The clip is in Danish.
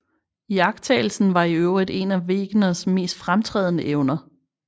Iagttagelsen var i øvrigt en af Wegeners mest fremtrædende evner